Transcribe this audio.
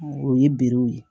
O ye berew ye